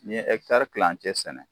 N'i ye kilancɛ sɛnɛ